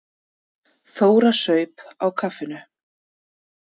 Þóra saup á kaffinu.